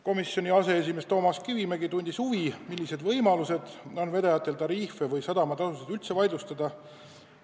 Komisjoni aseesimees Toomas Kivimägi tundis huvi, millised võimalused on vedajatel tariife või sadamatasusid üldse vaidlustada.